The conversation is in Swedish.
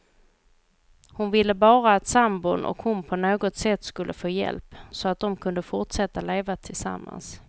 Hon ville bara att sambon och hon på något sätt skulle få hjälp, så att de kunde fortsätta att leva tillsammans.